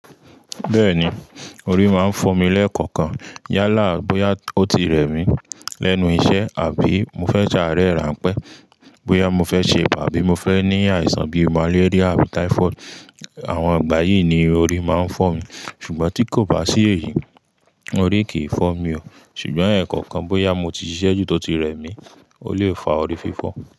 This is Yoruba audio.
Bẹ́ẹ̀ni, orí máa ń fọ́ mi lẹ́ẹ̀kọ̀kan. Yálà bóyá ó ti rẹ mi lẹ́nu iṣẹ́ àbí mo fẹ́ sẹ àárẹ̀ rànpẹ́, bóyá mo fẹ́ ṣe ibà, abi mo fẹ́ ní àìsàn bíi màléríà àbí táífọ́ọ̀dù, àwọn ìgbà yìí ni orí máa ń fọ́ mi. Ṣùgbọ́n tí kò bá sí èyí, orí kì í fọ́ mi o. Ṣùgbọ́n ẹ̀ẹ̀kọ̀kan bóyá mo ti ṣiṣẹ́ ju tọ́ ti rẹ mi, ó lè fa orí fífọ.